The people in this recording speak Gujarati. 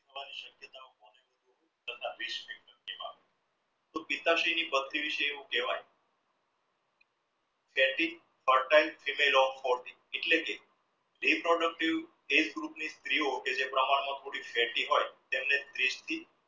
પથરી વિશે એવું કહેવાય એટલે કે reproductive ની સ્ત્રીઓ જે પ્રમાણમાં તેમણે ત્રીસ થી life style reach factor